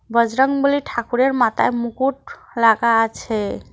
বজরংবলী ঠাকুরের মাথায় মুকুট লাগা আছে।